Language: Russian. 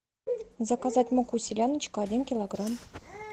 заказать муку селяночка один килограмм